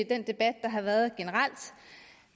den debat der har været